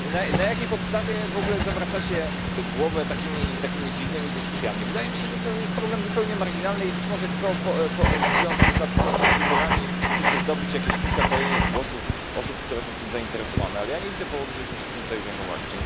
Na jakiej podstawie w ogóle zawracacie głowę takimi dziwnymi dyskusjami? Wydaje mi się, że to jest problem zupełnie marginalny i być może tylko w związku z nadchodzącymi wyborami chcecie zdobyć jakieś kilka kolejnych głosów osób, które są tym zainteresowane, ale ja nie widzę powodu, żebyśmy się tym zajmowali.